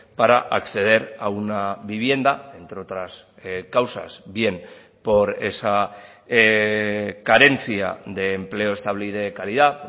para acceder a una vivienda entre otras causas bien por esa carencia de empleo estable y de calidad